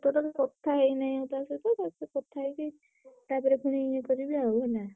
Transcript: କଥା ହେଇ ନାହିଁ ତା ସହିତ ତା ସହିତ କଥା ହେଇକି ତାପରେ ପୁଣି ଇଏ କରିବି ଆଉ ହେଲା।